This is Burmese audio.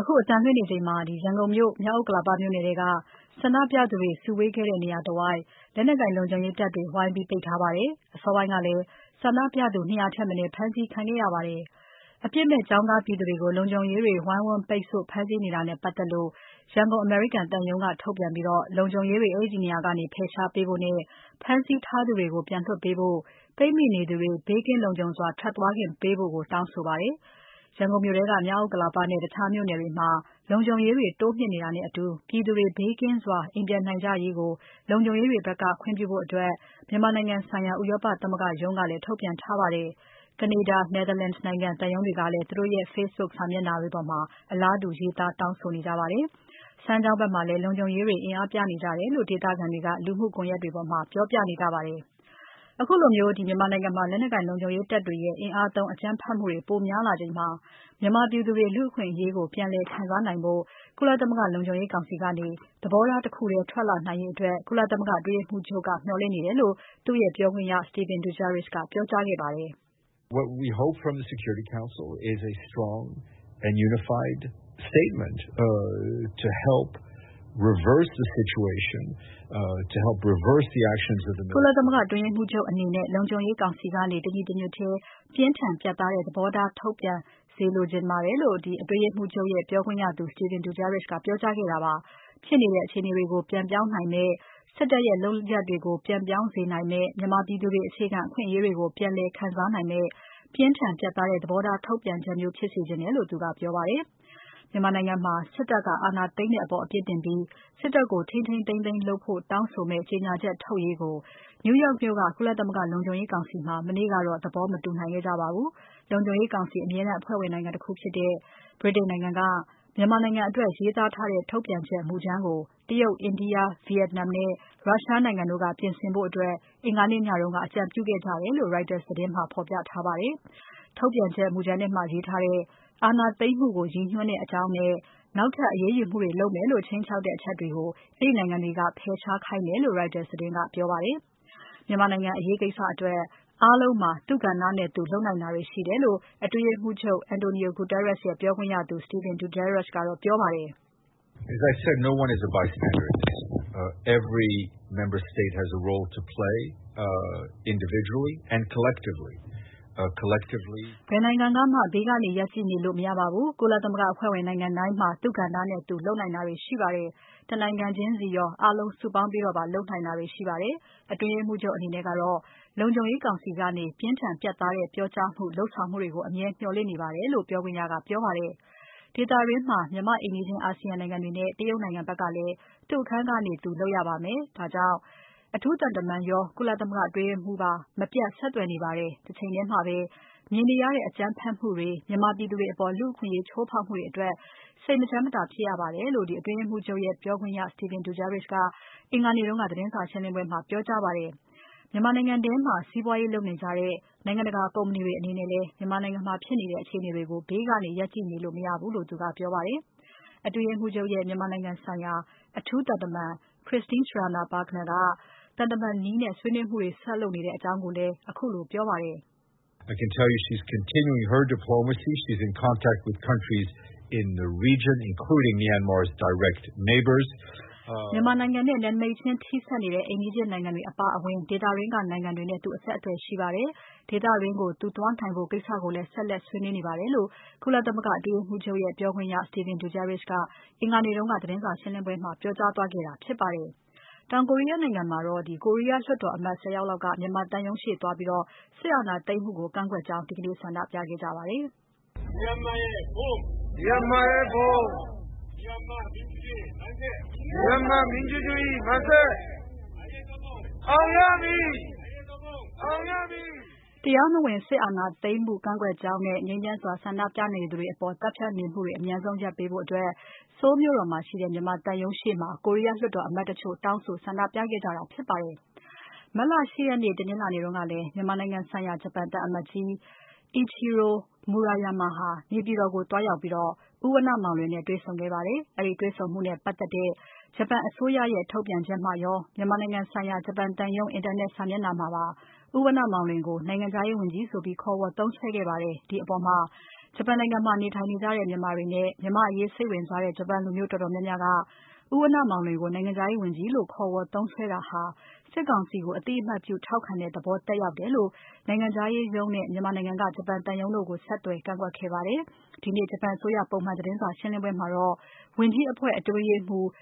အခုအသံလွှင့်နေချိန်မှာ ရန်ကုန်မြို့ မြောက်ဥက္ကလာပမြို့နယ်ထဲက ဆန္ဒပြသူတွေ စုဝေးခဲ့တဲ့ နေရာတဝိုက် လုံခြုံရေးတွေ ဝိုင်းပိတ်ထားပါတယ်။ အစောပိုင်းကလည်း ဆန္ဒပြသူ ၂၀၀ ထက်မနည်း ဖမ်းဆီးခံရပါတယ်။ အပြစ်မဲ့ ကျောင်းသား ပြည်သူတွေကို လုံခြုံရေးတွေ ဝိုင်းဝန်း ပိတ်ဆို့၊ ဖမ်းဆီးတာနဲ့ပတ်သက်လို့ ရန်ကုန်အမေရိကန်သံရုံးက ထုတ်ပြန်ပြီး လုံခြုံရေးတွေ အဲဒီနေရာကနေ ဖယ်ရှားပေးဖို့နဲ့ ဖမ်းဆီးထားသူတွေ ပြန်လွှတ်ပေးဖို့နဲ့ ပိတ်မိနေသူတွေ ဘေးကင်းလုံခြုံစွာ ထွက်သွားခွင့်ပေးဖို့ တောင်းဆိုပါတယ်။ ရန်ကုန်မြို့ထဲက မြောက်ဥက္ကလာပနဲ့ တခြားမြို့နယ်တွေမှာ လုံခြုံရေးတွေ တိုးမြှင့်နေတာနဲ့အတူ ပြည်သူတွေ ဘေးကင်းစွာ အိမ်ပြန်နိုင်ကြရေးကို လုံခြုံရေးတွေ ခွင့်ပြုဖို့ မြန်မာနိုင်ငံဆိုင်ရာ ဥရောပသမဂ္ဂရုံးကလည်း ထုတ်ပြန်ထားပါတယ်။ ကနေဒါ၊ Netherlands နိုင်ငံ သံရုံးတွေကလည်း သူတို့ရဲ့ Facebook စာမျက်နှာတွေပေါ်မှာ အလားတူ ရေးသားတောင်းဆိုထားကြပါတယ်။ စမ်းချောင်းဘက်မှာလည်း လုံခြုံရေးတွေ အင်အားပြနေကြတယ်လို့ ဒေသခံတွေက လူမှုကွန်ယက်တွေပေါ်မှာ ပြောပြနေကြပါတယ်။ အခုလိုမြန်မာနိုင်ငံမှာ လက်နက်ကိုင် လုံခြုံရေးတွေရဲ့ အင်အားသုံး အကြမ်းဖက်မှုတွေ ပိုများလာချိန်မှာ မြန်မာပြည်သူတွေ လူ့အခွင့်အရေးကို ပြန်လည်ခံစားနိုင်ဖို့ ကုလသမဂ္ဂလုံခြုံရေးကောင်စီကနေ သဘောထားတခုထဲ ထွက်လာနိုင်ဖို့ ကုလအတွင်းရေးမှူးချုပ်က မျှော်လင့်နေတယ်လို့ သူ့ရဲ့ပြောခွင့်ရသူ Stéphane Dujarric ကပြောကြားခဲ့ပါတယ်။ ကုလသမဂ္ဂအတွင်းရေးမှူးချုပ်အနေနဲ့ လုံခြုံရေးကောင်စီကနေ တညီတညွတ်ထဲ ပြင်းထန် ပြတ်သားတဲ့ သဘောထား ထုတ်ပြန်စေချင်ပါတယ်လို့ အတွင်းရေးမှူးချုပ်ရဲ့ ပြောခွင့်ရသူ Stéphane Dujarric ကပြောကြားခဲ့တာဖြစ်ပါတယ်။ ဖြစ်နေတဲ့ အခြေအနေကို ပြန်ပြောင်းနိုင်မယ့်၊ စစ်တပ်ရဲ့ လုပ်ရပ်တွေကို ပြန်ပြောင်းစေနိုင်မယ့်၊ မြန်မာပြည်သူတွေ အခြေခံအခွင့်အရေးကို ပြန်လည်ခံစားနိုင်မယ့် ပြင်းထန် ပြတ်သားတဲ့ သဘောထား ထုတ်ပြန်ချက်မျိုး ဖြစ်စေချင်တယ်လို့ သူကပြောပါတယ်။ မြန်မာနိုင်ငံမှာ စစ်တပ်က အာဏာသိမ်းတဲ့အပေါ် အပြစ်တင်ပြီး စစ်တပ်ကို ထိန်းထိန်းသိမ်းသိမ်းလုပ်ဖို့တောင်းဆိုမယ့် ကြေညာချက် ထုတ်ရေးကို New York မြို့ကုလသမဂ္ဂလုံခြုံရေးကောင်စီမှာ မနေ့ကတော့ သဘောမတူနိုင်ခဲ့ကြပါဘူး။ လုံခြုံရေးကောင်စီအမြဲတမ်းအဖွဲ့ဝင်နိုင်ငံတခုဖြစ်တဲ့ ဗြိတိန်နိုင်ငံက မြန်မာနိုင်ငံအတွက် ရေးသားထားတဲ့ ထုတ်ပြန်ချက်မူကြမ်းကို တရုတ်၊ အိန္ဒိယ၊ ဗီယက်နမ်နဲ့ ရုရှားနိုင်ငံတို့က ပြင်ဆင်ဖို့အတွက် အင်္ဂါနေ့ညက အကြံပြုခဲ့ကြတယ်လို့ Reuters သတင်းမှာ ဖော်ပြထားပါတယ်။ ထုတ်ပြန်ချက် မူကြမ်းထဲမှာ ရေးထားတဲ့ အာဏာသိမ်းမှုကို ရည်ညွှန်းတဲ့အကြောင်းနဲ့ နောက်ထပ်အရေးယူမှုတွေလုပ်မယ်လို့ ခြိမ်းခြောက်ထားတဲ့ အချက်တွေကို အဲဒီနိုင်ငံတွေက ဖယ်ရှားခိုင်းတယ်လို့ Reuters သတင်းမှာ ပြောပါတယ်။ မြန်မာနိုင်ငံအရေးကိစ္စအတွက် အားလုံးမှာ သူ့ကဏ္ဍနဲ့သူ လုပ်နိုင်တာတွေ ရှိပါတယ်လို့ အတွင်းရေးမှူးချုပ် António Guterres ရဲ့ ပြောခွင့်ရသူ Stéphane Dujarric ကပြောပါတယ်။ ဘယ်နိုင်ငံကမှ ဘေးကနေရပ်ကြည့်နေလို့ မရပါဘူး။ ကုလသမဂ္ဂအဖွဲ့ဝင်နိုင်ငံတိုင်းမှာ သူကဏ္ဍနဲ့သူ လုပ်နိုင်တာတွေရှိပါတယ်။ တနိုင်ငံချင်းစီရော အားလုံး စုပေါင်းပြီးလုပ်နိုင်တာတွေရှိပါတယ်။ အတွင်းရေးမှူးချုပ်အနေနဲ့ကတော့ လုံခြုံရေးကောင်စီကနေ ပြင်းထန် ပြန်သားတဲ့ ပြောကြားမှု လုပ်ဆောင်မှုတွေကို အမြဲမျှော်လင့်ပါတယ်လို့လည်း ပြောခွင့်ရက ပြောပါတယ်။ ဒေသတွင်းမှာ မြန်မာ့အိမ်နီးချင်း အာဆီယံနိုင်ငံတွေနဲ့ တရုတ်နိုင်ငံဘက်ကလည်း သူ့အခန်းကနေသူ လုပ်ရပါမယ်။ ဒါကြောင့်လည်း အထူးသံတမန်ရော၊ ကုလသမဂ္ဂအတွင်းရေးမှူးပါ မပြတ်ဆက်သွယ်နေပါတယ်။ တချိန်ထဲမှာပဲ မြင်နေရတဲ့ အကြမ်းဖက်မှုတွေ မြန်မာပြည်သူတွေအပေါ် လူ့အခွင့်အရေးချိုးဖောက်မှုတွေအတွက် စိတ်မချမ်းမသာဖြစ်ရပါတယ်လို့ အတွင်းရေးမှူးချုပ်ရဲ့ပြောခွင့်ရ Stéphane Dujarric က အင်္ဂါနေ့ကသတင်းစာရှင်းပွဲမှာ ပြောကြားခဲ့ပါတယ်။ မြန်မာနိုင်ငံထဲမှာ စီးပွားရေးလုပ်နေကြတဲ့ နိုင်ငံတကာ ကုမ္ပဏီတွေအနေနဲ့လည်း မြန်မာနိုင်ငံမှာ ဖြစ်နေတဲ့ အခြေအနေကို ဘေးကနေရပ်ကြည့်နေလို့ မရဘူးလို့ သူကပြောပါတယ်။ အတွင်းရေးမှူးချုပ်ရဲ့ မြန်မာနိုင်ငံဆိုင်ရာ အထူးသံတမန် Christine Schraner Burgener အနေနဲ့လည်း သံတမန်နည်းနဲ့ ဆွေးနွေးမှုတွေ ဆက်လုပ်နေကြောင်း ခုလို ပြောခဲ့ပါတယ်။ မြန်မာနိုင်ငံနဲ့ နယ်နမိတ်ချင်းထိဆက်နေတဲ့ အိမ်နီးချင်းနိုင်ငံတွေ အပါအဝင် ဒေသတွင်းကနိုင်ငံတွေနဲ့ သူ အဆက်အသွယ်ရှိပါတယ်။ ဒေသတွင်းကို သူသွားနိုင်ဖို့ ကိစ္စကိုလည်း ဆက်လက်ဆွေးနွေးနေပါတယ်လို့ ကုလသမဂ္ဂ အတွင်းရေးမှူးချုပ်ရဲ့ ပြောခွင့်ရ Stéphane Dujarric က အင်္ဂါနေ့ကသတင်းစာရှင်းပွဲမှာ ပြောကြားသွားခဲ့တာဖြစ်ပါတယ်ရှင်။ တောင်ကိုရီးယားနိုင်ငံမှာတော့ ကိုရီးယားလွှတ်တော်အမတ် ဆယ်ယောက်လောက်က မြန်မာသံရုံးရှေ့သွားပြီး စစ်အာဏာသိမ်းမှုကို ကန့်ကွက်ကြောင်း ဒီနေ့ ဆန္ဒပြခဲ့ကြပါတယ်။ တရားမဝင် စစ်အာဏာသိမ်းမှု ကန့်ကွက်ကြောင်းနဲ့၊ ငြိမ်းချမ်းစွာဆန္ဒပြနေသူတွေအပေါ် သတ်ဖြတ်နေမှုတွေ အမြန်ဆုံးရပ်ပေးဖို့ Seoul မြို့တော်မှာရှိတဲ့ မြန်မာသံရုံးရှေ့မှာ ကိုရီးယားလွှတ်တော်အမတ်တချို့တောင်းဆိုဆန္ဒပြခဲ့ကြပါတယ်။ မတ်လ ၈ ရက် တနင်္လာနေ့ကလည်း မြန်မာနိုင်ငံဆိုင်ရာ ဂျပန်သံအမတ်ကြီး Mr. Ichiro Maruyama ဟာ နေပြည်တော်ကို သွားရောက်ပြီး ဦးဝဏ္ဏမောင်လွင်နဲ့တွေ့ဆုံခဲ့ပါတယ်။ အဲဒီတွေ့ဆုံမှုနဲ့ ပတ်သက်တဲ့ ဂျပန်အစိုးရရဲ့ ထုတ်ပြန်ချက်မှာရော၊ မြန်မာနိုင်ငံဆိုင်ရာ ဂျပန်သံရုံး အင်တာနက်စာ မျက်နှာမှာပါ ဦးဝဏ္ဏမောင်လွင်ကို နိုင်ငံခြားရေးဝန်ကြီး ဆိုပြီးခေါ်ဝေါ်သုံးစွဲခဲ့ပါတယ်။ ဒီအပေါ်မှာ ဂျပန်နိုင်ငံမှာ နေထိုင်နေကြတဲ့ မြန်မာတွေနဲ့ မြန်မာ့အရေးစိတ်ဝင်စားတဲ့ ဂျပန်လူမျိုးတော်တော်များများက ဦးဝဏ္ဏမောင်လွင်ကို နိုင်ငံခြားရေးဝန်ကြီးလို့ ခေါ်ဝေါ်သုံးစွဲတာဟာ စစ်ကောင်စီကို အသိအမှတ်ပြုထောက်ခံတဲ့ သဘောသက်ရောက်တယ်လို့ ဂျပန်နိုင်ငံခြားရေးရုံးနဲ့ မြန်မာနိုင်ငံရှိ ဂျပန်သံရုံးတို့ကို ဆက်သွယ်ကန့်ကွက်ခဲ့ကြပါတယ်။ ဒီနေ့ ဂျပန်အစိုးရ ပုံမှန်သတင်းစာရှင်းပွဲမှာတော့ ဝန်ကြီးအဖွဲ့ အတွင်းရေးမှူးချုပ်